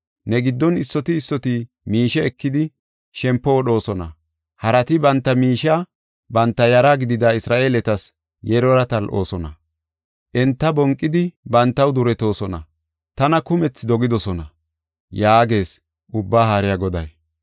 Ne giddon issoti issoti miishe ekidi, shempo wodhoosona; harati banta miishiya banta yara gidida Isra7eeletas yelora tal7oosona; enta bonqidi bantaw duretoosona; tana kumethi dogidosona” yaagees Ubbaa Haariya Goday.